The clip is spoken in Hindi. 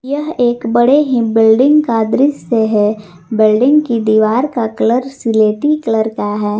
यह एक बड़े ही बिल्डिंग का दृश्य है बिल्डिंग की दीवार का कलर सिलेटी कलर का है।